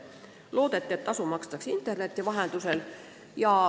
Loodeti, et tasu makstakse interneti vahendusel.